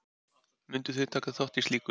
Mundu þið taka þátt í slíku?